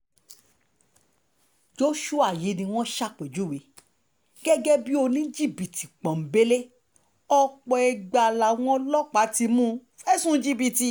joshua yìí ni wọ́n ṣàpèjúwe gẹ́gẹ́ bíi oníjìbìtì pọ́ńbélé ọ̀pọ̀ ìgbà làwọn ọlọ́pàá ti mú un fẹ̀sùn jìbìtì